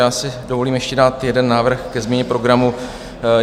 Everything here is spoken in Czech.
Já si dovolím ještě dát jeden návrh ke změně programu.